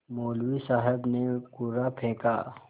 मौलवी साहब ने कुर्रा फेंका